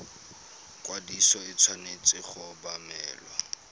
ikwadiso e tshwanetse go obamelwa